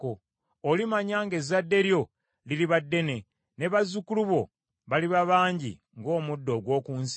Olimanya ng’ezzadde lyo liriba ddene, ne bazzukulu bo baliba bangi ng’omuddo ogw’oku nsi.